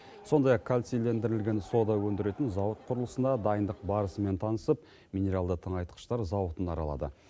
сондай ақ кальцийлендірілген сода өндіретін зауыт құрылысына дайындық барысымен танысып минералды тыңайтқыштар зауытын аралады